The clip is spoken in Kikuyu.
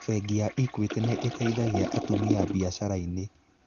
Bengi ya Equity nĩ ĩteithagia atumia biacara-inĩ.